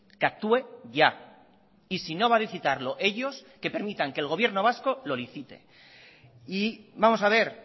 que actúe ya y si no va a licitarlo ellos que permitan que el gobierno vasco lo licite y vamos a ver